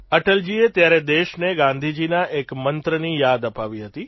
અટલજીએ ત્યારે દેશને ગાંધીજીના એક મંત્રની યાદ અપાવી હતી